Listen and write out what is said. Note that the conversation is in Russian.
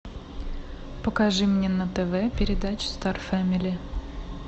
покажи мне на тв передачу стар фэмили